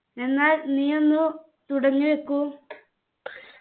എന്നാൽ നീയൊന്നു തുടങ്ങി വെക്കൂ